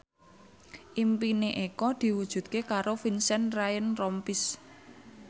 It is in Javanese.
impine Eko diwujudke karo Vincent Ryan Rompies